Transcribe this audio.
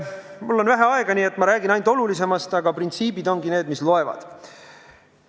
Mul on vähe aega, nii et ma räägin ainult olulisemast, aga printsiibid ongi need, mis loevad.